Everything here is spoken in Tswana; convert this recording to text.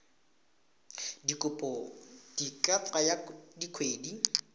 dikopo di ka tsaya dikgwedi